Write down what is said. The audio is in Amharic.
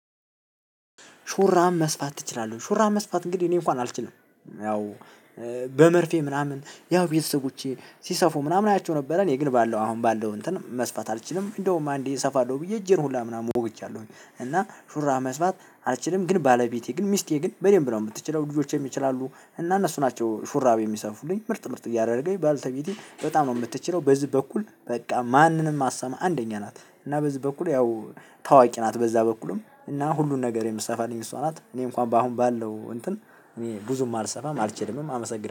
ሹራብ መስፋት ትችላለህ? ሹራብ መስፋት እንግዲህ እኔ እንኳን አልችልም። ያው በመርፌ ምናምን ያው ቤተሰቦቼ ሲሰፉ ምናምን አያቸው ነበረ እኔ ግል ባለው አሁን ባለው እንትን መስፋት አልችልም። እንደውም አንዴ እሰፋለሁ ብዬ እጄን ሁላ ምናምን ወግቻለሁኝ እና ሹራብ መስማት አልችልም። ግን ባለቤቴ ግን ሚስቴ ግን በደንብ ነው የምትችለው ልጆቼም ይችላሉ። እና እነሱ ናቸው ሹራቤን የሚሰፉልኝ ምርጥ ምርጥ እያደረገኝ ባልተቤቴ በጣም ነው የምትችለው። በዚህ በኩል በቃ ማንንም አሰማ አንደኛ ናት። እና በዚህ በኩል ያው ታዋቂ ናት በዛ በኩልም እና ሁሉን ነገር የምትሰፋልኝ እሷ ናት። እኔ እንኳን በአሁን ባለው እንትን ብዙም አልሰፋም አልችልም አመሰግናለሁ